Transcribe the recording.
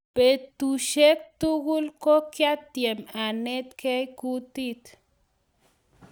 betushek tugul ko kiatem anetgei kutit